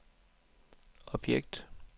objekt